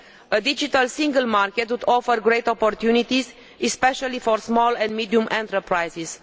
A digital single market would offer great opportunities, especially for small and medium enterprises.